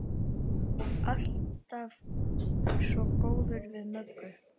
Alltaf svo góður við Möggu.